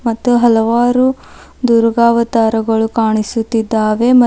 ಮತ್ತು ಹಲವಾರು ದುರ್ಗಾ ಅವತಾರಗಳು ಕಾಣಿಸುತ್ತಿದ್ದಾವೆ ಮತ್--